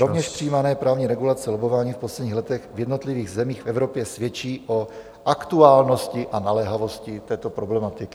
Rovněž přijímané právní regulace lobbování v posledních letech v jednotlivých zemích v Evropě svědčí o aktuálnosti a naléhavosti této problematiky.